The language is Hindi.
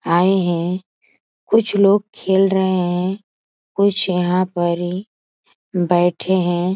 आए हैं कुछ लोग खेल रहे हैं। कुछ यहां पर ही बैठे हैं।